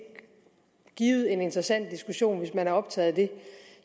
er givet en interessant diskussion hvis man er optaget af det